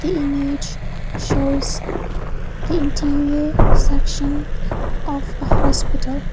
the image shows the interior section of a hospital.